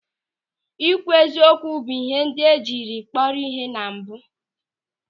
Ị kwụ eziokwu bụ ịhe ndị jiri kpọrọ ihe na mbụ.